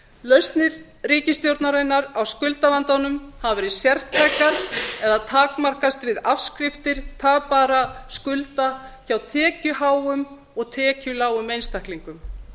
lausnir ríkisstjórnarinnar á skuldavandanum hafa verið sértækar eða takmarkast við afskriftir tapaðra skulda hjá tekjuháum og tekjulágum einstaklingum